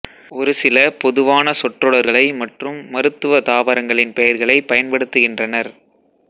ஒரு சில பொதுவான சொற்றொடர்களை மற்றும் மருத்துவ தாவரங்களின் பெயர்களை பயன்படுத்துகின்றனர்